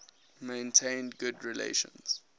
maintained good relations